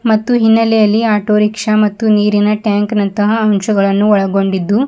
ಮತ್ತು ಹಿನ್ನಲೆಯಲ್ಲಿ ಆಟೋರಿಕ್ಷಾ ಮತ್ತು ನೀರಿನ ಟ್ಯಾಂಕ್ ನಂತಹ ಅಂಶಗಳನ್ನು ಒಳಗೊಂಡಿದ್ದು --